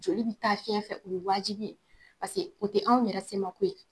Joli bi taa fɛɲɛ fɛ o ye wajibi ye o tɛ anw yɛrɛ semako ye.